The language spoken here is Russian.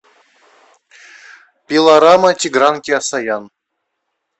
пилорама тигран кеосаян